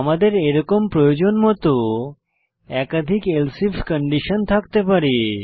আমাদের এরকম প্রয়োজনমত একাধিক এলসিফ কন্ডিশন থাকতে পারে